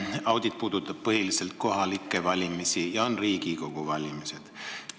Audit puudutab põhiliselt kohalikke valimisi, nüüd on ees Riigikogu valimised.